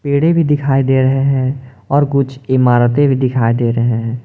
पेड़े भी दिखाई दे रहे हैं और कुछ इमारतें भी दिखाई दे रहे हैं।